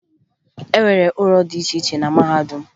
E nwere ụlọ dị iche iche na mahadum